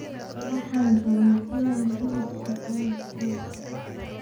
Waxan rawaa inan xilibka aan kuwo.